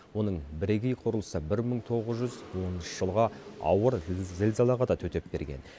оның бірегей құрылысы бір мың тоғыз жүз оныншы жылғы ауыр зілзалаға да төтеп берген